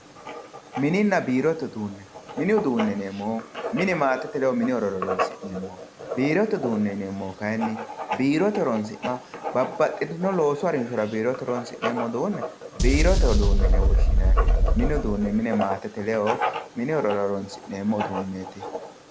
mininna biirote uduune mini uduuneeti yineemohu mine maatete leyo mini horo horonsi'neemoho biirote uduune yineemohu kayiini biirote horonsin'nee babbaxino loosu hajora biirote horonsin'neemo uduune biirote uduune yine woshinayi mini uduune mine maatete leyo mini horora horonsi'neemoho uduuneeti